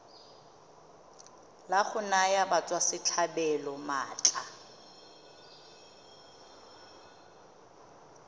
la go naya batswasetlhabelo maatla